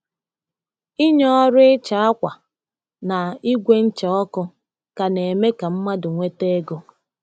Ịnye ọrụ ịcha akwa na ígwè ncha ọkụ ka na-eme ka mmadụ nweta ego